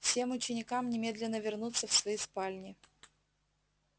всем ученикам немедленно вернуться в свои спальни